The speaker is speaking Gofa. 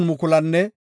Yihudape 74,600